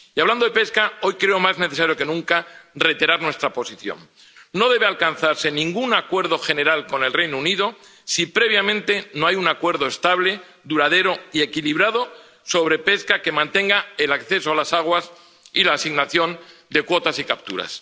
Y hablando de pesca, hoy creo más necesario que nunca reiterar nuestra posición no debe alcanzarse ningún acuerdo general con el Reino Unido si previamente no hay un acuerdo estable, duradero y equilibrado sobre pesca que mantenga el acceso a las aguas y la asignación de cuotas y capturas.